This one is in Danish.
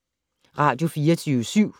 Radio24syv